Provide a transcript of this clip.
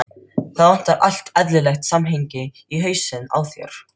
Það vantar allt eðlilegt samhengi í hausinn á þér.